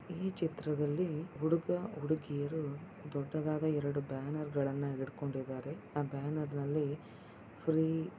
ಈ ಚಿತ್ರದಲ್ಲಿ ಹುಡುಗ-ಹುಡುಗಿಯರು ದೊಡ್ಡದಾದ ಎರಡು ಬ್ಯಾನೆರ್ ಗಳನು ಹಿಡ್ಕೊಂಡಿದ್ದಾರೆ. ಆ ಬ್ಯಾನೆರ್ ನಲ್ಲಿ ಫ್ರೀ --